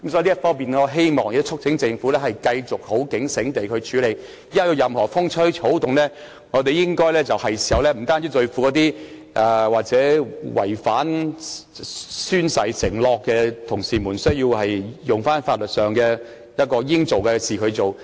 因此，我促請政府繼續警醒地處理這方面的事宜，有任何風吹草動，我們就要像對付那些違反宣誓承諾的同事那樣，應該採取法律行動時，就要馬上這樣做。